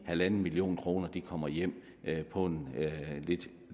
halv million kroner kommer hjem på en